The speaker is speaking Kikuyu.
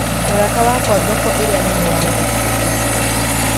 Mũrata wakwa thoko ĩrĩa nene ya gũkũ ikũ